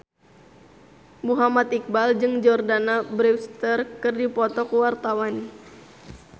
Muhammad Iqbal jeung Jordana Brewster keur dipoto ku wartawan